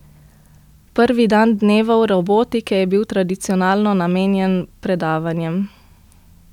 Prvi dan Dnevov robotike je bil tradicionalno namenjen predavanjem.